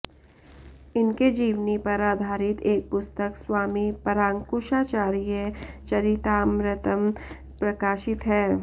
इनके जीवनी पर आधारित एक पुस्तक स्वामी परांकुशाचार्य चरितामृतम् प्रकाशित है